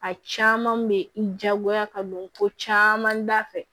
A caman bɛ n diyagoya ka don ko caman da fɛ